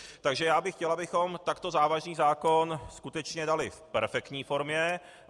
Takže já bych chtěl, abychom takto závažný zákon skutečně dali v perfektní formě.